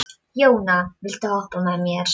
Jóna, viltu hoppa með mér?